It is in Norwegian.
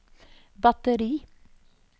batteri